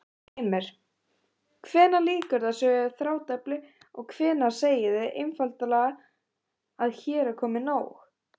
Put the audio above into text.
Heimir: Hvenær lýkur þessu þrátefli og hvenær segið þið einfaldlega hér er komið nóg?